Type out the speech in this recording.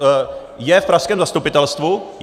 Je v pražském zastupitelstvu?